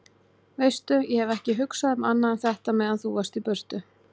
Veistu. ég hef ekki hugsað um annað en þetta meðan þú varst í burtu.